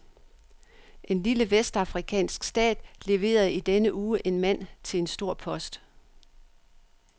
En lille vestafrikansk stat leverede i denne uge en mand til en stor post.